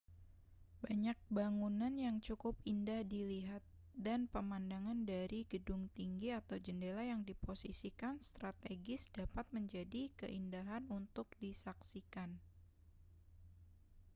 banyak bangunan yang cukup indah dilihat dan pemandangan dari gedung tinggi atau jendela yang diposisikan strategis dapat menjadi keindahan untuk disaksikan